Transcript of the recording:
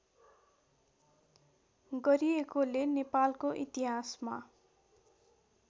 गरिएकोले नेपालको इतिहासमा